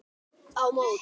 Á móti